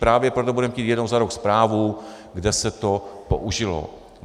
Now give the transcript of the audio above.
Právě proto budeme chtít jednou za rok zprávu, kde se to použilo.